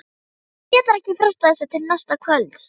Hún getur ekki frestað þessu til næsta kvölds.